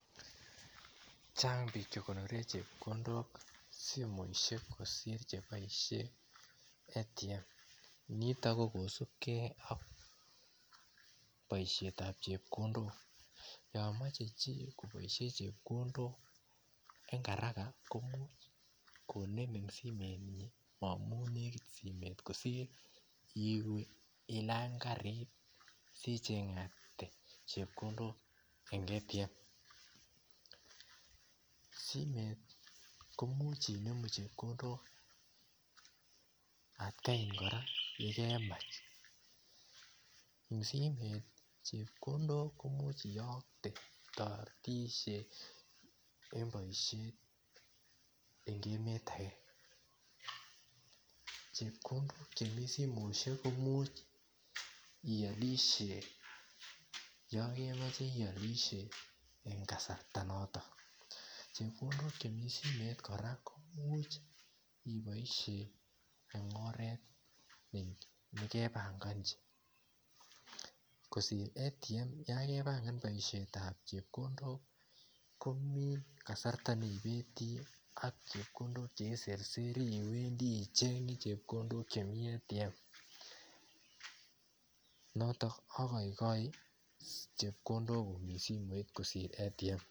Chang biik che ikonoren chepkondok simoisik kosir cheboisin ATM niton ko kosubgei ak boisietab chepkondok yomoche chi koboisien chepkondok en Karaka komuch konem en simenyi amun nekit simet kosir iwe ilany karit sichengate chepkondok en ATM simet komuche inemu chepkondok akgai kora en ole kemach simet chepkondok komuche iyomte en boisiet en emet age chepkondok chemi simoisiek komuche iolisien yon kemoche iolisien en kasarta noton chepkondok chemi simet kora komuche Iboisien en oret nekebongonji kosir ATM yan kebangan boisiet tab chepkondok komi kasarta cheibati ak cheiserseri I chenge chepkondok chemi ATM noto ohoigoi chepkondok chemi simoit kosir ATM